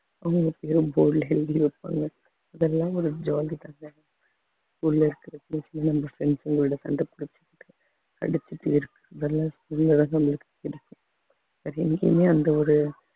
உள்ள இருக்கிற நம்ம friends களோட சண்டை புடிச்சுகிட்டு அடிச்சுட்டே இருக்கு அந்த ஒரு